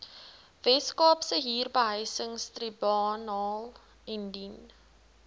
weskaapse huurbehuisingstribunaal indien